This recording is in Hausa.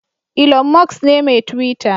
Ilon Musk ne mai Twita.